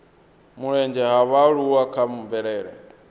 mulenzhe ha vhaaluwa kha mvelele